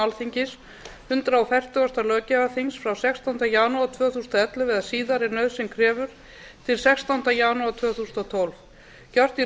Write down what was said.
alþingis hundrað fertugasta löggjafarþings frá sextánda janúar tvö þúsund og ellefu eða síðar ef nauðsyn krefur til sextánda janúar tvö þúsund og tólf gjört í